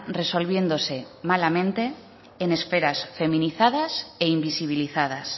resolviéndose malamente en esperas feminizadas e invisibilizadas